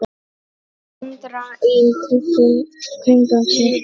Andra í kringum sig.